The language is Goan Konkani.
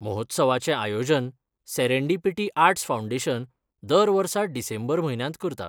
महोत्सवाचे आयोजन सेरेंडेपीटी आर्ट्स फावंडेशन दरवर्सा डिसेंबर म्हयन्यात करता